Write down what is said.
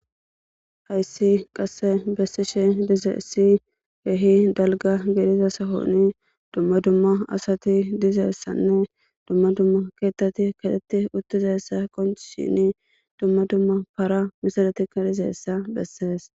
Hayssi qasse bessishe dizeessi geehi dalga gediza sahoni dumma dumma asati dizeessanne dumma dumma keettati katetti uttizessa qonch shini dumma dumma para misadatikka dizeessa bessees.